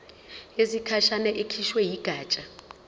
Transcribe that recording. yesikhashana ekhishwe yigatsha